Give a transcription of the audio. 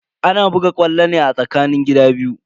Ana buga ƙwallo ne a tsakanin gida biyu.